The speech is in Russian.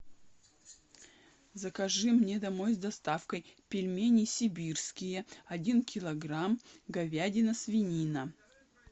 закажи мне домой с доставкой пельмени сибирские один килограмм говядина свинина